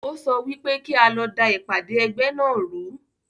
Ó sọ wípé kí a lọ da ìpàdé ẹgbẹ́ náà ru